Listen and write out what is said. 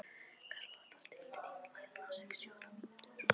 Karlotta, stilltu tímamælinn á sextíu og átta mínútur.